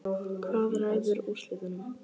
Hvað ræður úrslitum?